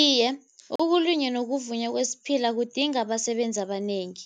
Iye, ukulinywa wokuvunywa kwesiphila kudinga abasebenzi abanengi.